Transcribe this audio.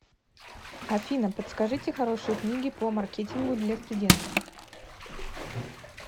афина подскажите хорошие книги по маркетингу для студента